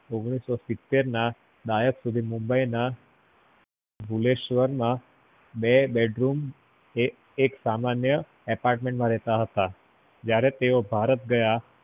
ઓગ્નીસ્સો સિત્તેર માં મુંબઈ ના ભૂલેશ્વર ના બે બેડરૂમ ના એક સામાન્ય apartment માં રેહતા હતા જયારે તે ભારત ગયા